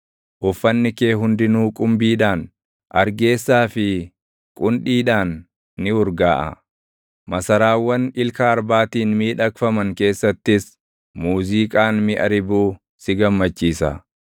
Uffanni kee hundinuu qumbiidhaan, argeessaa fi qundhiidhaan ni urgaaʼa; masaraawwan ilka arbaatiin miidhagfaman keessattis muuziiqaan miʼa ribuu si gammachiisa.